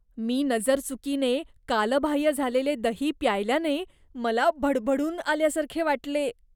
मी नजरचुकीने कालबाह्य झालेले दही प्यायल्याने मला भडभडून आल्यासारखे वाटले.